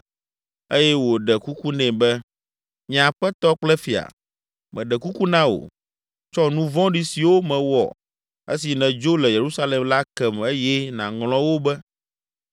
eye wòɖe kuku nɛ be, “Nye aƒetɔ kple fia, meɖe kuku na wò, tsɔ nu vɔ̃ɖi siwo mewɔ esi nèdzo le Yerusalem la kem eye nàŋlɔ wo be